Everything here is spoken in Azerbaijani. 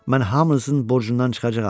Mən hamınızın borcundan çıxacağam.